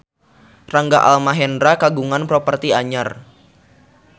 Rangga Almahendra kagungan properti anyar